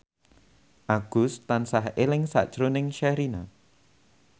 Agus tansah eling sakjroning Sherina